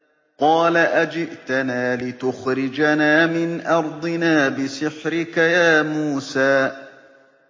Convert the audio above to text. قَالَ أَجِئْتَنَا لِتُخْرِجَنَا مِنْ أَرْضِنَا بِسِحْرِكَ يَا مُوسَىٰ